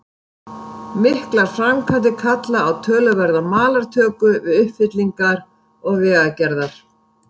Miklar framkvæmdir kalla á töluverða malartöku til uppfyllingar og vegagerðar.